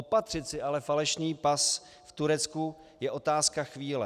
Opatřit si ale falešný pas v Turecku je otázka chvíle.